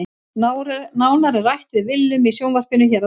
Nánar er rætt við Willum í sjónvarpinu hér að ofan.